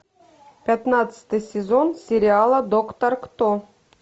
пятнадцатый сезон сериала доктор кто